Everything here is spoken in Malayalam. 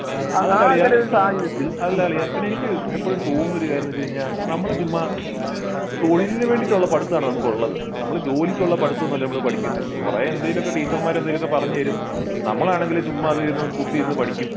ആഹ് ആഹ് അല്ല അളിയാ പിന്നെ എനിക്ക് ഇപ്പോഴും തോന്നിയ ഒരു കാര്യം എന്ന് വെച്ചു കഴിഞ്ഞാൽ നമ്മൾ ചുമ്മാ തൊഴിലിന് വേണ്ടിട്ടുള്ള പഠിത്തം ആണ് നമുക്കുള്ളത് നമ്മൾ ജോലിക്കുള്ള പഠിത്തം ഒന്നും അല്ല നമ്മൾ പഠിക്കുന്നെ കൊറേ എന്തേലും ഒക്കെ ടീച്ചർമാർ എന്തേലും ഒക്കെ പറഞ്ഞു തരും നമ്മളാണെങ്കി ചുമ്മാ അതിരുന്ന് കുത്തിയിരുന്ന് പഠിക്കും